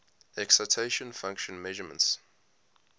excitation function measurements